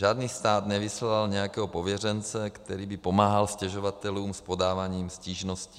Žádný stát nevyslal nějakého pověřence, který by pomáhal stěžovatelům s podáváním stížností.